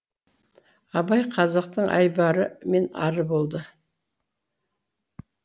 абай қазақтың айбары мен ары болды